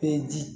Pedi